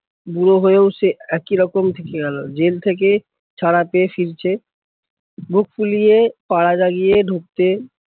বুড়ো হয়েও সে একই রকম থেকে গেলো, জেল থেকে ছাড়া পেয়ে ফিরছে, বুক ফুলিয়ে, পাড়া জাগিয়ে ঢুকতে